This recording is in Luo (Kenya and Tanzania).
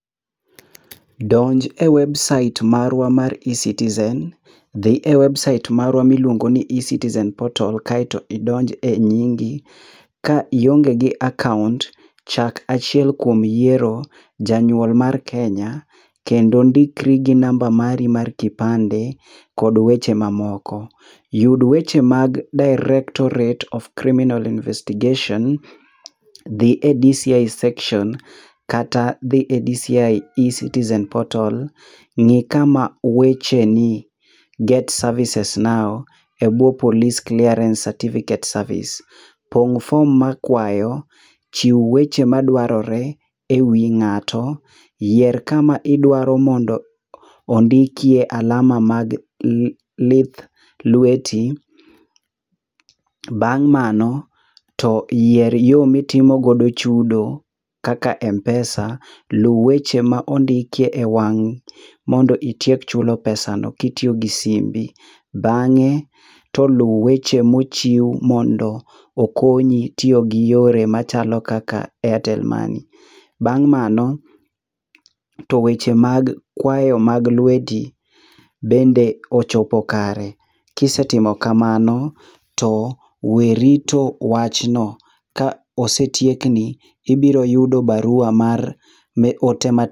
Donj e website marwa mar E-citizen. Dhi e website marwa miluongo ni e-citizen portal kaeto idonj e nyingi. Ka ionge gi account, chak achiel kuom yiero janyuol mar Kenya kendo ndikri gi namba mari mar kipande kod weche mamoko. Yud weche mag Directorate of criminal investigation. Dhi e DCI section kata dhi e DCI e-citizen portal. Ng'i kama weche ni get services now e buwo police clearance certificate service. Pong' form ma kwayo . Chiw weche madwarore e wi ng'ato . Yier kama idwaro mondo ondikie alama mag lith lweti. Bang' mano to yier yo mitimogo chudo kaka Mpesa. Luw weche mondikie e wang' mondo itiek chulo pesano kitiyo gi simbi. Bang'e to luw weche mochiw mondo okonyi tiyo gi yore machalo kaka Airtel Money. Bang' mano to weche mag kwayo mag lweti bende ochopo kare. Kisetimo kamano, to we rito wachno ,ka osetiekni ibiro yudo barua mar ne ote mar.